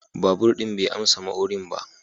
Babur din bai amsa ma'urin ba.